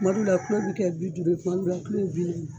Tuma dɔw la kulo bi kɛ bi duuru ye, tuma dɔw la bi naani.